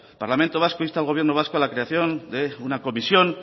parlamento vasco insta al gobierno vasco a la creación de una comisión